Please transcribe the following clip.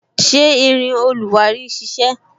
Ṣé irin oluwari ń sisẹ?